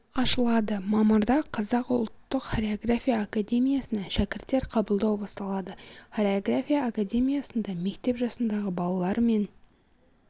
ашылады мамырда қазақ ұлттық хореография академиясына шәкірттер қабылдау басталады хореография академиясында мектеп жасындағы балалар мен